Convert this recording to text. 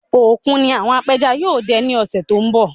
Òkun ni àwọn apẹja yóò dẹ ní òṣé tó ń bọ̀